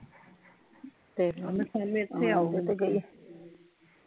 ਤੇ ਓਵੇ ਏਥੈ ਆਵੈ ਓਹਨੂ ਕਹੀ